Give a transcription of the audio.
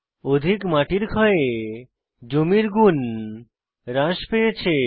অধিক মাটির ক্ষয়ে জমির গুণ হ্রাস পেয়েছে